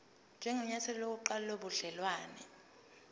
njengenyathelo lokuqala lobudelwane